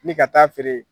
Ni ka taa feere